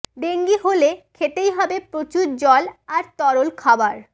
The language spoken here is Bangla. ডেঙ্গি হলে খেতেই হবে প্রচুর জল আর তরল খাবার